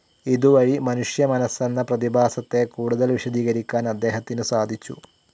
ഇതു വഴി മനുഷ്യ മനസ്സെന്ന പ്രതിഭാസത്തെ കൂടുതൽ വിശദീകരിക്കാൻ അദ്ദേഹത്തിന്നു സാധിച്ചു.